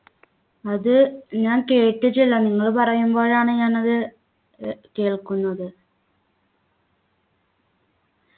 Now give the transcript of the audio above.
അത് ഞാൻ കേട്ടിട്ടില്ല നിങ്ങൾ പറയുമ്പോഴാണ് ഞാൻ അത് ഏർ കേൾക്കുന്നത്